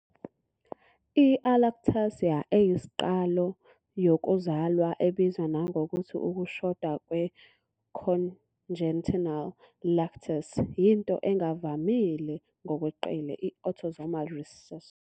I-alactasia eyisiqalo yokuzalwa, ebizwa nangokuthi ukushoda kwe-congenital lactase, yinto engavamile ngokweqile, i-autosomal recessi.